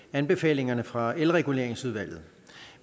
anbefalingerne fra elreguleringsudvalget